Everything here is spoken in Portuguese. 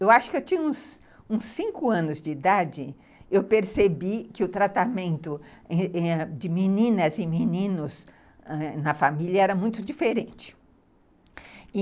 Eu acho que eu tinha uns uns cinco anos de idade, eu percebi que o tratamento de meninas e meninos na família era muito diferente.